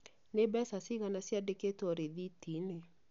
Nĩ mbeca cigana ciandĩkĩtwo rĩthiti-inĩ?